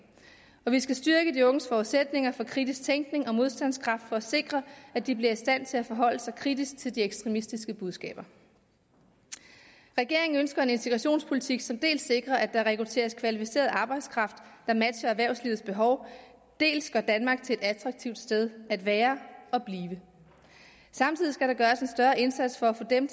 og vi skal styrke de unges forudsætninger for kritisk tænkning og modstandskraft for at sikre at de bliver i stand til at forholde sig kritisk til de ekstremistiske budskaber regeringen ønsker en integrationspolitik som dels sikrer at der rekrutteres kvalificeret arbejdskraft der matcher erhvervslivets behov dels gør danmark til et attraktivt sted at være og blive samtidig skal der gøres en større indsats for at få dem